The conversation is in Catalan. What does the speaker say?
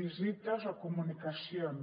visites o comunicacions